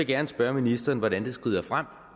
gerne spørge ministeren hvordan det skrider frem